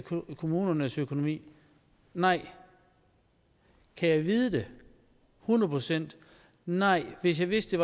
kommunernes økonomi nej kan jeg vide det hundrede procent nej hvis jeg vidste